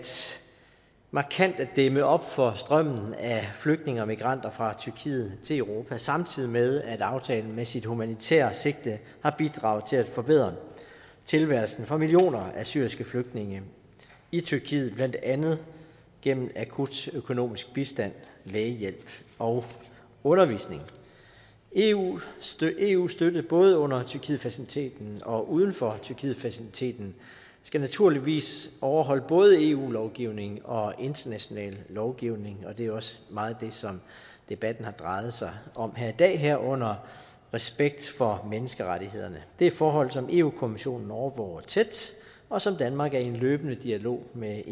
dæmme op for strømmen af flygtninge og migranter fra tyrkiet til europa samtidig med at aftalen med sit humanitære sigte har bidraget til at forbedre tilværelsen for millioner af syriske flygtninge i tyrkiet blandt andet gennem akut økonomisk bistand lægehjælp og undervisning eus støtte eus støtte både under tyrkietfaciliteten og uden for tyrkietfaciliteten skal naturligvis overholde både eu lovgivning og international lovgivning og det er også meget det som debatten har drejet sig om her i dag herunder respekt for menneskerettighederne det er forhold som europa kommissionen overvåger tæt og som danmark er i en løbende dialog med